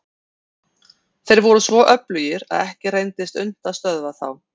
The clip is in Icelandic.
Þeir voru svo öflugir að ekki reyndist unnt að stöðva þá.